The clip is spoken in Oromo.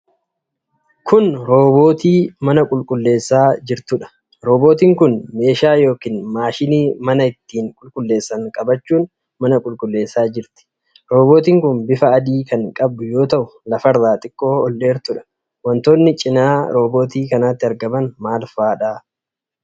Kuni roobootii mana qulqulleessaa jirtuudha. roobootiin kun meeshaa yookiin maashinii mana itti qulqulleessan qabachuun mana qulqulleessaa jirti. Roobootiin kun bifa adii kan qabdu yoo ta'u lafarraa xiqqoo ol dheertudha. Wantoonni cinaa roobootii kanaatti argaman maal faadha?